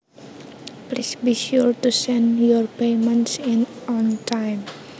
Please be sure to send your payments in on time